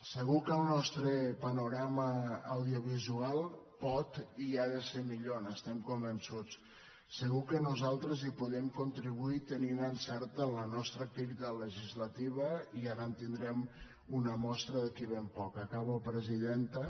segur que el nostre panorama audiovisual pot i ha de ser millor n’estem convençuts segur que nosaltres hi podem contribuir tenint encert en la nostra activitat legislativa i ara en tindrem una mostra d’aquí a ben poc acabo presidenta